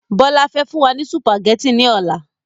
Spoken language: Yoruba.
Bọlá fẹ́ fún wa ní sùpàgétì ni ọ̀la.